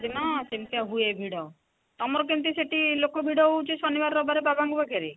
ଦିନ ସେମିତିଆ ହୁଏ ଭିଡ ତମର ସେଠି କେମିତି ଲୋକ ଭିଡ ହଉଚି ଶନିବାର ରବିବାର ବାବା ଙ୍କ ପାଖରେ